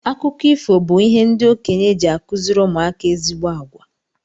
Akụkọ ifo bu ihe ndị okenye ji akuziri ụmụ aka ezigbo àgwà.